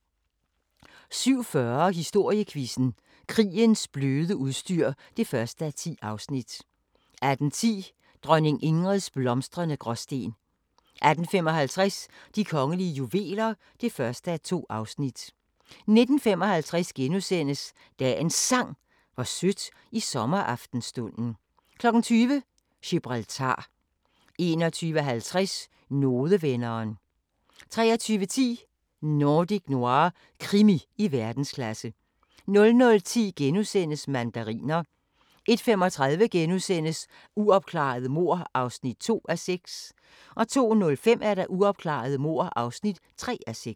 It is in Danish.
17:40: Historiequizzen: Krigens bløde udstyr (1:10) 18:10: Dronning Ingrids blomstrende Gråsten 18:55: De kongelige juveler (1:2) 19:55: Dagens Sang: Hvor sødt i sommeraftenstunden * 20:00: Gibraltar 21:50: Nodevenderen 23:10: Nordic Noir – krimi i verdensklasse 00:10: Mandariner * 01:35: Uopklarede mord (2:6)* 02:05: Uopklarede mord (3:6)